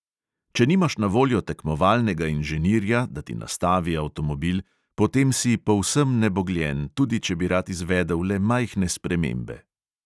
"Če nimaš na voljo tekmovalnega inženirja, da ti nastavi avtomobil, potem si povsem nebogljen, tudi če bi rad izvedel le majhne spremembe."